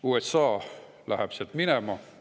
USA läheb sealt minema.